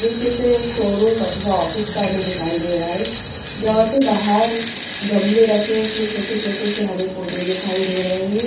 ये चित्र एक शोरूम अथवा ऑफिस का हमें दिखाई दे रहा हैं जहाँ पर बाहर गमले रखे हैं उसमें छोटे-छोटे से हरे पौधे दिखाई दे रहे हैं ।